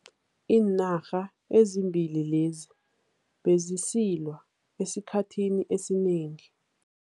Iinarha ezimbili lezi bezisilwa esikhathini esinengi.